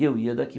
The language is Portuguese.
E eu ia daqui.